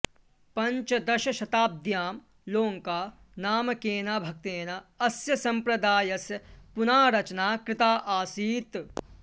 पञ्चदशशताब्द्यां लोङ्का नामकेन भक्तेन अस्य सम्प्रदायस्य पुनारचना कृता आसीत्